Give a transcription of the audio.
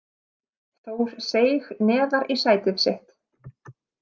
Þór seig neðar í sætið sitt.